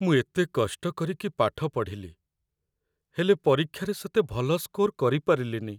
ମୁଁ ଏତେ କଷ୍ଟ କରିକି ପାଠ ପଢ଼ିଲି, ହେଲେ ପରୀକ୍ଷାରେ ସେତେ ଭଲ ସ୍କୋର କରିପାରିଲିନି ।